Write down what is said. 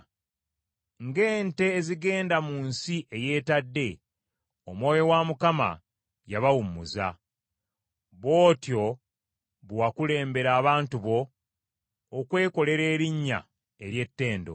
Ng’ente ezigenda mu nsi eyeetadde, Omwoyo wa Mukama yabawummuza. Bw’otyo bwe wakulembera abantu bo okwekolera erinnya ery’ettendo.